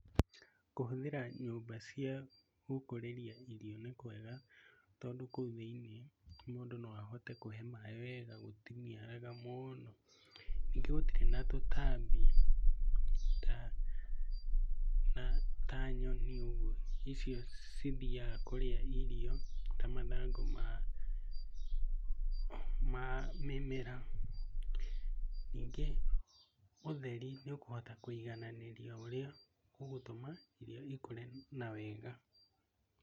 kũhũthĩra nyũmba cia gũkũrĩria irio nĩkũega tondũ kũu thĩiniĩ, mũndũ no ahote kũhe maĩ wega, gũtiniaraga mũno. Nyingĩ gũtirĩ na tũtambi ta nyoni ũguo icio cithiaga kũrĩa irio ta mathangũ ma ma mĩmera. Nyingĩ ũtheri nĩũkũhota kũigananĩria ũrĩa ũgũtũma irio ikũre wega